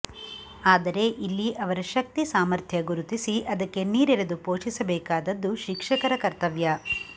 ಆದರೆ ಇಲ್ಲಿ ಅವರ ಶಕ್ತಿ ಸಾಮರ್ಥ್ಯ ಗುರುತಿಸಿ ಅದಕ್ಕೆ ನೀರೆರೆದು ಪೋಷಿಸಬೇಕಾದದ್ದು ಶಿಕ್ಷಕರ ಕರ್ತವ್ಯ